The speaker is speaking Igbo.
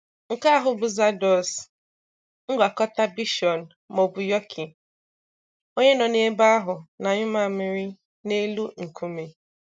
Nke ahụ bụ Zardoz, ngwakọta bichon/yorkie, onye nọ n'ebe ahụ n'anyụ mamịrị n'elu nkume.